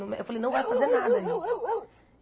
Eu me eu falei, não vai fazer nada aí.